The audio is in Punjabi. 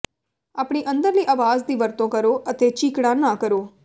ਆਪਣੀ ਅੰਦਰਲੀ ਆਵਾਜ਼ ਦੀ ਵਰਤੋਂ ਕਰੋ ਅਤੇ ਚੀਕਣਾ ਨਾ ਕਰੋ